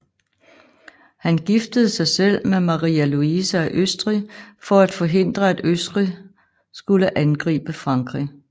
Han giftede sig selv med Maria Louise af Østrig for at forhindre at Østrig skulle angribe Frankrig